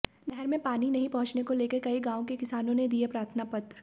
नहर में पानी नहीं पहुंचने को लेकर कई गांव के किसानों ने दिए प्रार्थना पत्र